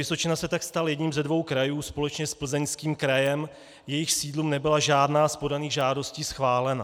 Vysočina se tak stal jedním ze dvou krajů společně s Plzeňským krajem, jejichž sídlům nebyla žádná z podaných žádostí schválena.